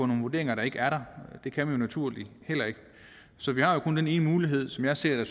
nogle vurderinger der ikke er der det kan man naturligvis heller ikke så vi har jo kun den ene mulighed som jeg ser